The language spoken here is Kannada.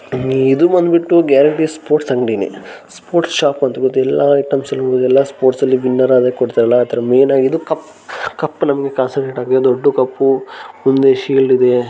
ಇದು ಬಂದ್ಬಿಟ್ಟು ಒಂದು ಗ್ಯಾಲರಿ ಸ್ಪೋರ್ಟ್ಸ್ ಅಂಗಡಿನೆ ಸ್ಪೋರ್ಟ್ಸ್ ಶಾಪ್ ಅಂತ ಹೇಳಬಹುದು ಎಲ್ಲಾ ಐಟಮ್ಸ್ ಕೂಡ ನೋಡಬಹುದು ಸ್ಪೋರ್ಟ್ಸ್ ಅಲ್ಲಿ ವಿನ್ ಆದ್ರೆ ಕೊಡ್ತಾರಲ್ಲ ದೊಡ್ಡ ದೊಡ್ಡ ಕಪ್ಪಿದೆ ಮುಂದೆ ಶೀಲ್ಡ್ ಇದೆ--